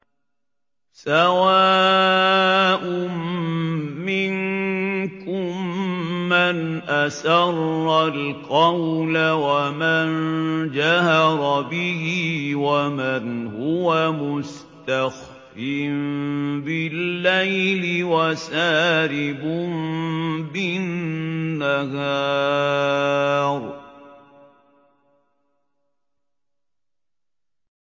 سَوَاءٌ مِّنكُم مَّنْ أَسَرَّ الْقَوْلَ وَمَن جَهَرَ بِهِ وَمَنْ هُوَ مُسْتَخْفٍ بِاللَّيْلِ وَسَارِبٌ بِالنَّهَارِ